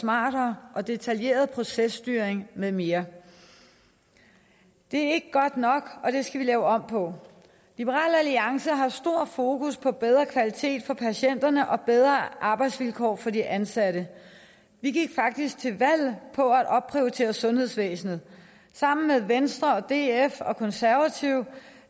smartere og detaljeret processtyring med mere det er ikke godt nok og det skal vi lave om på liberal alliance har stor fokus på bedre kvalitet for patienterne og bedre arbejdsvilkår for de ansatte vi gik faktisk til valg på at opprioritere sundhedsvæsenet sammen med venstre df og konservative